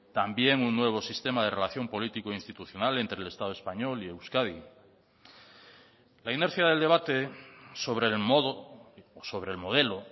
también un nuevo sistema de relación político institucional entre el estado español y euskadi la inercia del debate sobre el modo o sobre el modelo